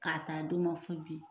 K'a ta a dɔn ma fɔ bi.